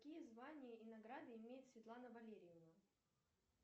какие звания и награды имеет светлана валерьевна